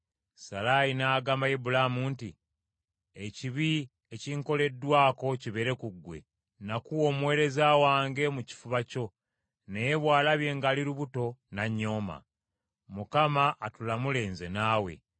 Salaayi n’agamba Ibulaamu nti, “Ekibi ekinkoleddwako kibeere ku ggwe. Nakuwa omuweereza wange mu kifuba kyo naye bw’alabye ng’ali lubuto n’annyooma. Mukama atulamule nze naawe!”